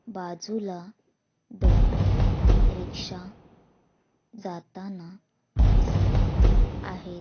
बाजूला दोन रिक्षा जाताना दिसत आहेत.